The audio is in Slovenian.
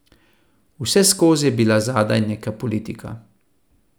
Vseskozi je bila zadaj neka politika.